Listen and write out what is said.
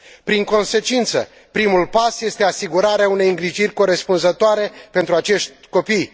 În consecință, primul pas este asigurarea unei îngrijiri corespunzătoare pentru acești copii